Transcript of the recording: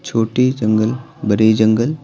छोटे जंगल बड़े जंगल--